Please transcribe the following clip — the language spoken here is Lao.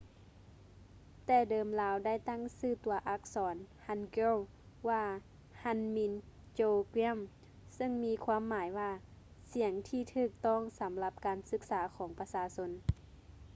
ແຕ່ເດີມລາວໄດ້ຕັ້ງຊື່ຕົວອັກສອນ hangeul ວ່າ hunmin jeongeum ເຊິ່ງມີຄວາມໝາຍວ່າ ສຽງທີ່ຖືກຕ້ອງສຳລັບການສຶກສາຂອງປະຊາຊົນ